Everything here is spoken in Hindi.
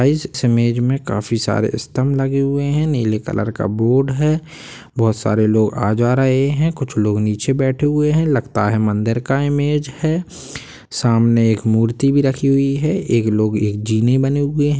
इस इमेज में काफी सारे स्तंभ लगे हुए हैं नीले कलर का बोर्ड है बहुत सारे लोग आ जा रहे हैं कुछ लोग नीचे बैठे हुए हैं लगता है मंदिर की इमेज है सामने एक मूर्ति भी रखी हुई है एक लोग एक जीने बने हुए हैं।